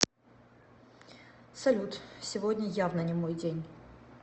салют сегодня явно не мой день